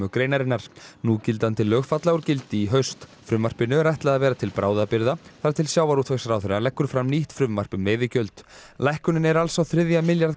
greinarinnar núgildandi lög falla úr gildi í haust frumvarpinu er ætlað að vera til bráðabirgða þar til sjávarútvegsráðherra leggur fram nýtt frumvarp um veiðigjöld lækkunin er alls á þriðja milljarð